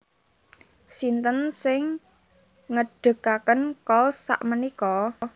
Sinten sing ngedekaken Kohls sakmenika?